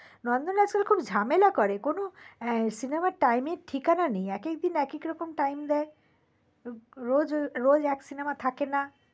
নন্দনে আসলে খুব ঝামেলা করে কোনো cinema র time এর ঠিকানা নেই এক একদিন এক এক রকম টাইম দেয় রোজ রোজ এক সিনেমা থাকে না